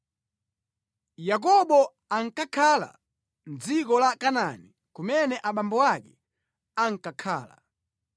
Yakobo ankakhala mʼdziko la Kanaani kumene abambo ake ankakhala.